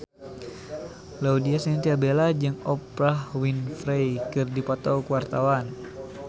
Laudya Chintya Bella jeung Oprah Winfrey keur dipoto ku wartawan